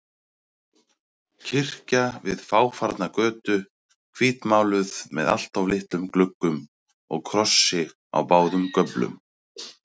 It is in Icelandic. Kirkja við fáfarna götu, hvítmáluð með alltof litlum gluggum og krossi á báðum göflum.